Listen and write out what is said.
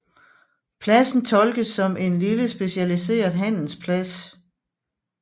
Pladsen tolkes som en lille specialiseret handelsplads